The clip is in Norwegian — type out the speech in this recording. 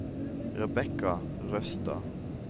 Rebecca Røstad